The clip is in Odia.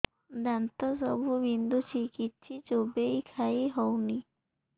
ଦାନ୍ତ ସବୁ ବିନ୍ଧୁଛି କିଛି ଚୋବେଇ ଖାଇ ହଉନି